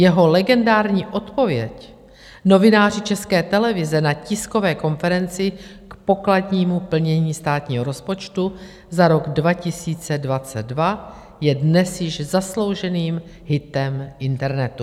Jeho legendární odpověď novináři České televize na tiskové konferenci k pokladnímu plnění státního rozpočtu za rok 2022 je dnes již zaslouženým hitem internetu.